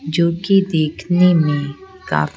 जो कि देखने में काफी--